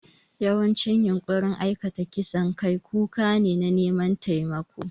Yawancin yunƙurin aikata kisan kai kuka ne na neman taimako.